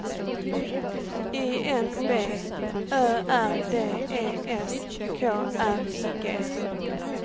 I N B Ö R D E S K R I G